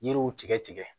Yiriw tigɛ tigɛ